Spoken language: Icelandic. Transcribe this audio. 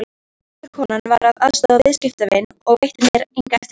Afgreiðslukonan var að aðstoða viðskiptavin og veitti mér enga eftirtekt.